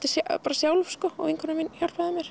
sjálf og vinkona mín hjálpaði mér